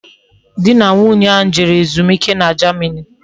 Di na nwunye ahu jewere ezumike na Germany